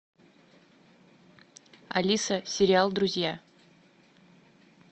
алиса сериал друзья